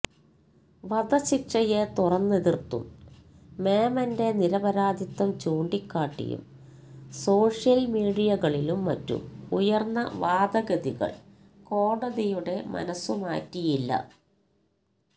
വധശിക്ഷയെ തുറന്നെതിർത്തും മേമന്റെ നിരപരാധിത്വം ചൂണ്ടിക്കാട്ടിയും സോഷ്യൻ മീഡിയകളിലും മറ്റും ഉയർന്ന വാദഗതികൾ കോടതിയുടെ മനസ്സുമാറ്റിയില്ല